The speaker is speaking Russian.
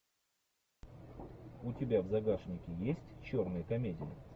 у тебя в загашнике есть черные комедии